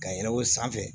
Ka yɛlɛ o sanfɛ